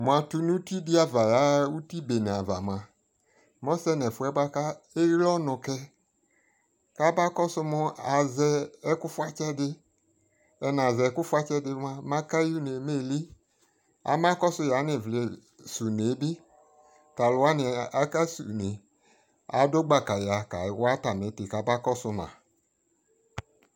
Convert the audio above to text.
mʋ atʋnʋ ʋti di aɣa yaha ʋti bɛnɛ aɣa mʋa mʋ ɔsɛ nʋ ɛƒʋ bʋakɛ () ɔnʋ kɛ kʋ aba kɔsʋ mʋ azɛ ɛkʋ ƒʋatsɛ di, mʋ ɛna zɛ ɛkʋ ƒʋatsɛ mʋ akayɛ ʋnɛ mɛ ɛlii, ama kɔsʋ yanʋ ivli sʋnɛ bi, talʋ wani aka so ʋnɛ, adʋ gbaka ya ka awa ati ɛtii kaba kɔsʋ ma